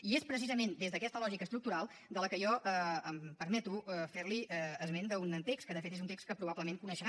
i és precisament des d’aquesta lògica estructural que jo em permeto fer li esment d’un text que de fet és un text que probablement deu conèixer